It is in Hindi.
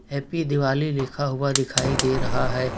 हैप्पी दिवाली लिखा हुआ दिखाई दे रहा है।